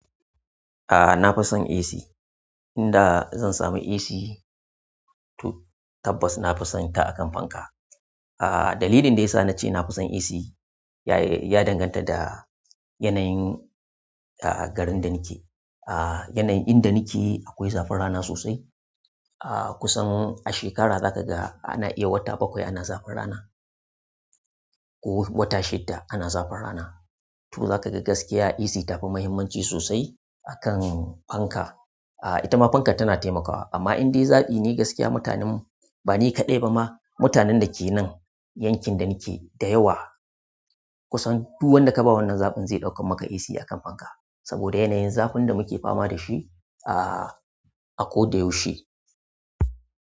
A'a, na fi son AC. Inda zan sami AC, to tabbas na fi son ta akan fanka. Ah, dalilin da ya sa na ce na fi son AC ya danganta da yanayin ah garin da nake. Ah yanayin inda nake akwai zafin rana sosai. A'a kusan a shekara za ka ga ana iya wata bakwai ana zafin rana ko wata shidda ana zafin rana. To za ka ga gaskiya AC tafi muhimmanci sosai akan fanka. A'a ita ma fankar tana taimakawa amma indai zaɓi ne gaskiya mutanen, ba ni kaɗai ba ma, mutanen da ke nan yankin da nake da yawa kusan duk wanda ka ba wannan zaɓin zai ɗauka maka AC akan fanka. Saboda yanayin zafin da muke fama da shi ah akoda yaushe.